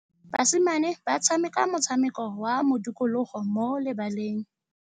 Basimane ba tshameka motshameko wa modikologô mo lebaleng.